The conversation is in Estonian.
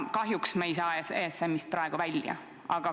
Kahjuks me ei saa ESM-ist praegu välja.